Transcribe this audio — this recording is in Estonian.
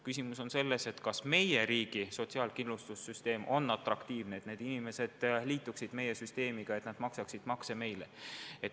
Küsimus on selles, kas meie riigi sotsiaalkindlussüsteem on nii atraktiivne, et need inimesed liituksid meie süsteemiga, et nad maksaksid makse meile.